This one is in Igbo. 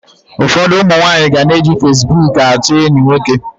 Ụfọdụ ụmụ nwaanyị ga na-eji fasibuuku achọ enyi nwoke.